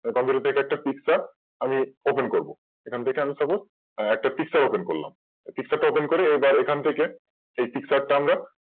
এরপর Computer থেকে একটা Picture open করব এখান থেকে আমি Suppose একটা Picture open করলাম Open করে এখান থেকেই যে এই Picture টা আমরা